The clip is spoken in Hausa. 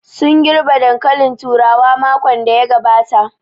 Sun girɓe dankalin turawa makon da ya gabata